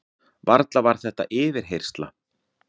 Varla var þetta yfirheyrsla?